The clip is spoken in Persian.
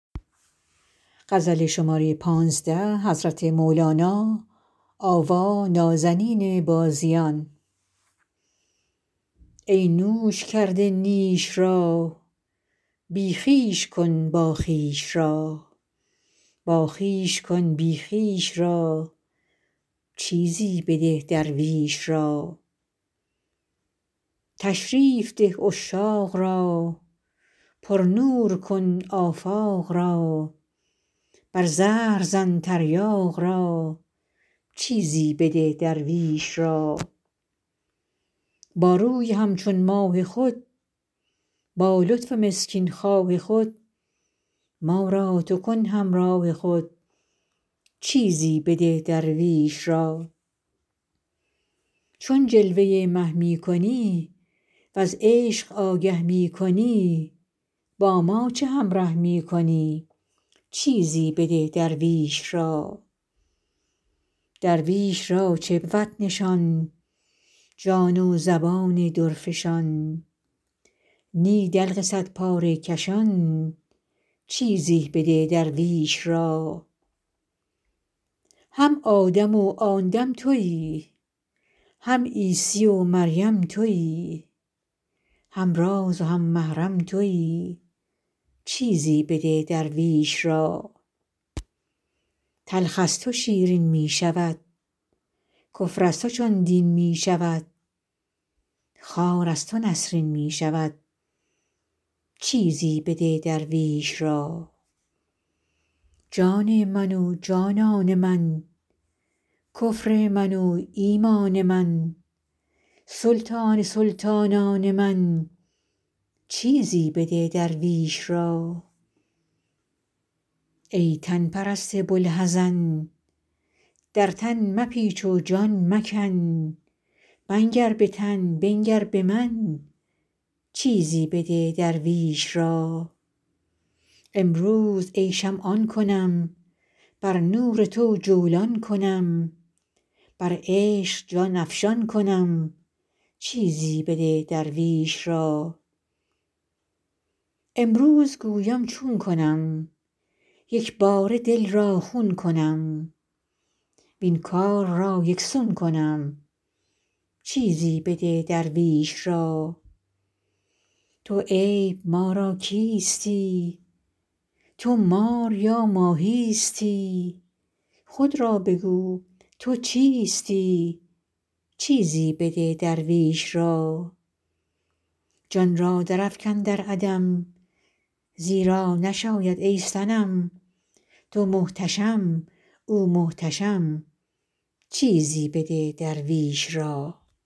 ای نوش کرده نیش را بی خویش کن باخویش را باخویش کن بی خویش را چیزی بده درویش را تشریف ده عشاق را پرنور کن آفاق را بر زهر زن تریاق را چیزی بده درویش را با روی همچون ماه خود با لطف مسکین خواه خود ما را تو کن همراه خود چیزی بده درویش را چون جلوه مه می کنی وز عشق آگه می کنی با ما چه همره می کنی چیزی بده درویش را درویش را چه بود نشان جان و زبان درفشان نی دلق صدپاره کشان چیزی بده درویش را هم آدم و آن دم توی هم عیسی و مریم توی هم راز و هم محرم توی چیزی بده درویش را تلخ از تو شیرین می شود کفر از تو چون دین می شود خار از تو نسرین می شود چیزی بده درویش را جان من و جانان من کفر من و ایمان من سلطان سلطانان من چیزی بده درویش را ای تن پرست بوالحزن در تن مپیچ و جان مکن منگر به تن بنگر به من چیزی بده درویش را امروز ای شمع آن کنم بر نور تو جولان کنم بر عشق جان افشان کنم چیزی بده درویش را امروز گویم چون کنم یک باره دل را خون کنم وین کار را یک سون کنم چیزی بده درویش را تو عیب ما را کیستی تو مار یا ماهیستی خود را بگو تو چیستی چیزی بده درویش را جان را درافکن در عدم زیرا نشاید ای صنم تو محتشم او محتشم چیزی بده درویش را